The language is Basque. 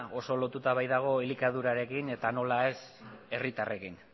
oso lotuta baitago elikadurarekin eta nola ez herritarrekin